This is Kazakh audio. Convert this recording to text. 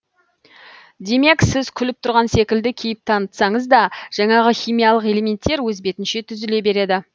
демек сіз күліп тұрған секілді кейіп танытсаңыз да жанағы химиялық элементтер өз бетінше түзіле береді